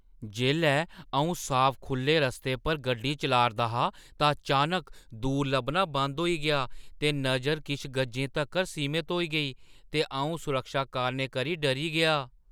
जेल्लै अ‘ऊं साफ -खु‘ल्ले रस्ते पर गड्डी चला‘रदा हा तां चानक दूर लब्भना बंद होई गेआ ते नजर किश गजें तगर सीमत होई गेई ते अ‘ऊं सुरक्षा कारणें करी डरी गेआ ।